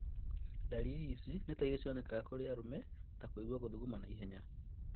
Ndariri ici nĩtairia cionekanaga kũri arume ta kũigua gũthuguma ihenya